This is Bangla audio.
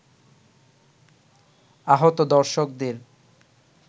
আহত দর্শকদের